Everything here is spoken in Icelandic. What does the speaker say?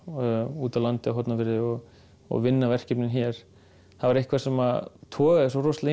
úti á landi á Hornafirði og og vinna verkefnin hér það var eitthvað sem togaði svo rosalega í